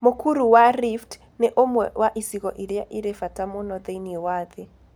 Mũkuru wa Rift nĩ ũmwe wa icigo iria irĩ bata mũno thĩinĩ wa thĩ.